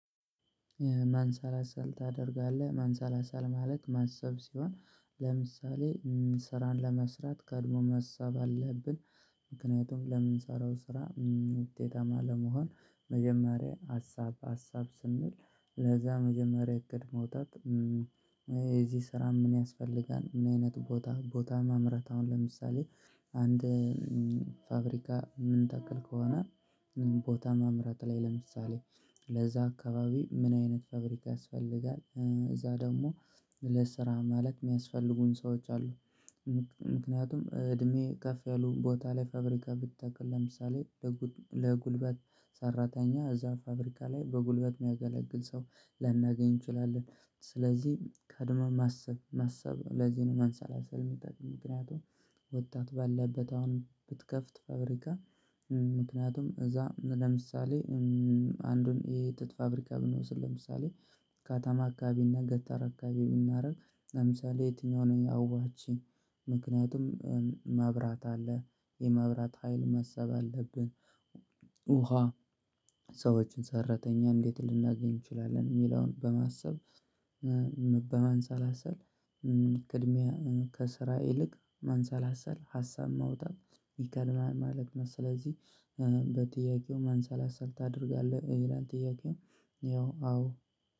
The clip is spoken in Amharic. ማንሳላሳል ታደርጋለህ ማንሳላሳል ማለት ማሰብ ሲሆን ለምሳሌ ስራን ለመስራት ቀድሞ መሳብ አለብን። ምክንያቱም ለምንሰራው ስራ። ውጤታማ ለመሆን መጀመሪያ ሀሳብ ሀሳብ ስንል ለዛ መጀመሪያ እቅድ መውጣት። የዚህ ስራ ምን ያስፈልጋል? ምን አይነት ቦታ ቦታ መምረጥ። አሁን ለምሳሌ አንድ ፋብሪካ ምን ታክል ከሆነ። ቦታ ማምረት ላይ ለምሳሌ ለዛ አካባቢ ምን አይነት ፋብሪካ ያስፈልጋል። እዛ ደግሞ ለስራ ማለት የሚያስፈልጉን ሰዎች አሉ። ምክንያቱም እድሜ ከፍ ያሉ ቦታ ላይ ፋብሪካ ብተክል ለምሳሌ ለጉልበት ሰራተኛ እዛ ፋብሪካ ላይ በጉልበት የሚያገለግል ሰው ላናገኝ እንችላለን። ስለዚህ ቀድመም ማሰብ ለዚህ ነው መንሳለሰል የሚጠቅም ምክንያቱም ወጣት ባለበት አሁን ብትከፍት ፋብሪካ። ምክንያቱም እዛ ለምሳሌ አንዱን የጥጥ ፋብሪካ ብንወስድ። ለምሳሌ ከተማ አካባቢ እና ገጠር አካባቢብናደርግ ለምሳሌ የትኛው ነው አዋጭ? ምክንያቱም ማብራት አለ የማብራት ሀይል ማሰብ አለብን። ውሃ ሰዎችን ሰራተኛ እንዴት ልናገኝ እንችላለን የሚለውን በማሰብ። በማንሳላሰል እድሜ ከስራ ይልቅ ማንሳላሰል ሀሳብ ማውጣት ይቀላል ማለት ነው። ስለዚህ በጥያቄው ማንሰላሰል ታደርጋለህ ይላል ጥያቄው። ያው አዎ